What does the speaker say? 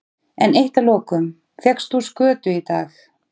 En eitt að lokum, fékkst þú skötu í dag?